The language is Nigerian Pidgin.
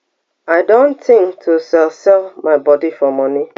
i don tink to sell sell my body for money